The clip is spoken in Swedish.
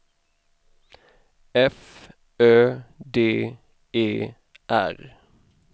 F Ö D E R